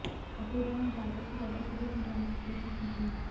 अपूर्वा ने ज्यादा से ज्यादा सबूत मिटाने की कोशिश भी की